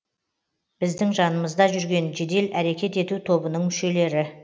біздің жанымызда жүрген жедел әрекет ету тобының мүшелері